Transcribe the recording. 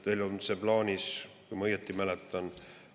Neil on see plaanis, kui ma õieti mäletan.